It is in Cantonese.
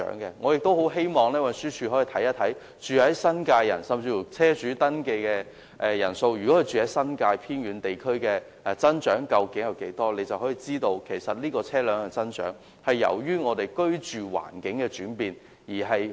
我很希望運輸署可以看看，居住在新界的居民，甚至居住在新界偏遠地區的車主登記人數增長率，便可以知道車輛大幅增長是由於我們的居住環境轉變。